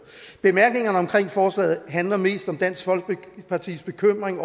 bemærkningerne til forslaget handler mest om dansk folkepartis bekymring